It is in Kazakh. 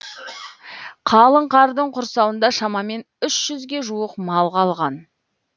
қалың қардың құрсауында шамамен үш жүзге жуық мал қалған